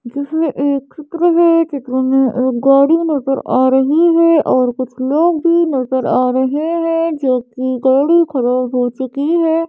जिसमें एक चित्र है चित्र में एक गाड़ी नजर आ रही है और कुछ लोग भी नजर आ रहे हैं जो कि गाड़ी खराब हो चुकी है।